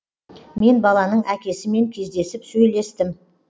мен баланың әкесімен кездесіп сөйлестім